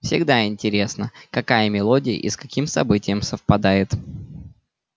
всегда интересно какая мелодия и с каким событием совпадёт